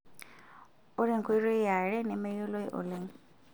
Ore enkoitoi yare nemeyioloi oleng'.